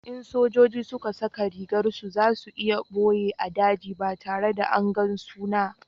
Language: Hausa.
in sojoji suka saka rigar su, za su iya boye a daji ba tare da angan su na